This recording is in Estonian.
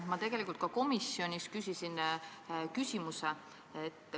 Ma tegelikult ka komisjonis esitasin sama küsimuse.